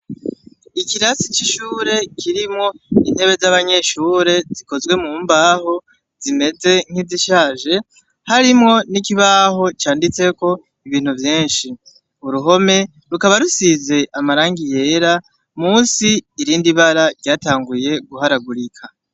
Ikirasi c'ishure kirimwo intebe z'abanyeshure zikozwe mu mbaho zimeze nk'izi shaje. Harimwo n'ikibaho canditseko ibintu vyinshi. Uruhome rukaba rusize amarangi yera, musi irindi bara ryatanguye guharagurika.